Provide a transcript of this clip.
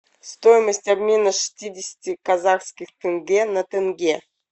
стоимость обмена шестидесяти казахских тенге на тенге